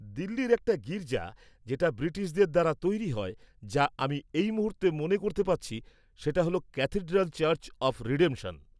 দিল্লির একটা গির্জা যেটা ব্রিটিশদের দ্বারা তৈরি হয়, যা আমি এই মুহূর্তে মনে করতে পারছি, সেটা হ'ল ক্যাথিড্রাল চার্চ অফ রিডেম্পশন।